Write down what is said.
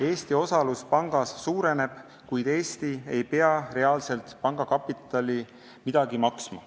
Eesti osalus pangas suureneb, kuid Eesti ei pea reaalselt midagi panga kapitali sisse maksma.